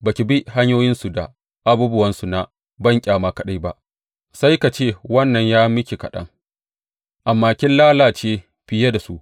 Ba ki bi hanyoyinsu da abubuwansu na banƙyama kaɗai ba, sai ka ce wannan ya yi miki kaɗan, amma kin lalace fiye da su.